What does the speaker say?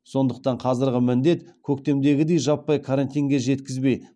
сондықтан қазіргі міндет көктемдегідей жаппай карантинге жеткізбей